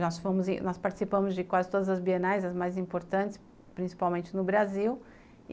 Nós fomos, nós participamos de quase todas as bienais, as mais importantes, principalmente no Brasil.